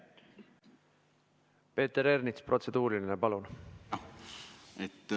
Peeter Ernits, protseduuriline küsimus, palun!